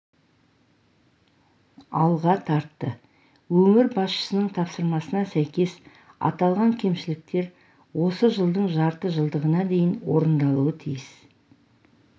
алға тартты өңір басшысының тапсырмасына сәйкес аталған кемшіліктер осы жылдың жарты жылдығына дейін орындалуы тиіс